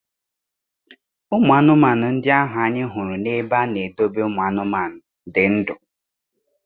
Ụmụ anụmanụ ndị ahụ anyị hụrụ na-ebe a na-edobe ụmụ anụmanụ dị ndụ.